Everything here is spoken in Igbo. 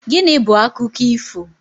Gịnị bu akụkọ ifo?